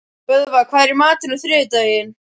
Böðvar, hvað er í matinn á þriðjudaginn?